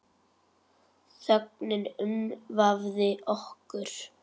Þögnin umvafði okkur.